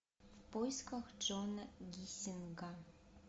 в поисках джона гиссинга